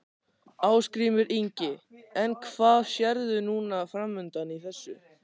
Ásgrímur Ingi: En hvað sérðu núna framundan í þessu?